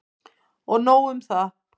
Og nóg um það!